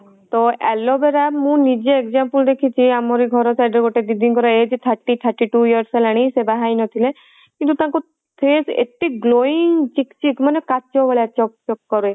ତ aloe vera ମୁ ନିଜେ example ଦେଖିଚି ଆମରି ଘର side ର ଗୋଟେ ଦିଦି ଙ୍କର age thirty thirty two years ହେଲାଣି ସେ ବାହା ହେଇନଥିଲେ କିନ୍ତୁ ତାଙ୍କ face ଏତେ glowing ଚିକ ଚିକ ମାନେ କାଚ ଭଳିଆ ଚକ ଚକ କରେ